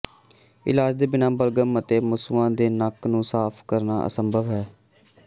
ਇਲਾਜ ਦੇ ਬਿਨਾਂ ਬਲਗ਼ਮ ਅਤੇ ਮਸੂਆ ਦੇ ਨੱਕ ਨੂੰ ਸਾਫ਼ ਕਰਨਾ ਅਸੰਭਵ ਹੈ